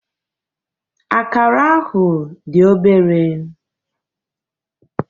Akara ahụ dị obere.